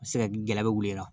A bɛ se ka gɛlɛya bɛ wuli i la